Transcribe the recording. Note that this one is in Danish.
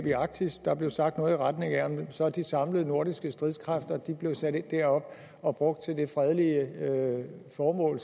i arktis der blev sagt noget i retning af at om så de samlede nordiske stridskræfter blev sat ind deroppe og brugt til fredelige formål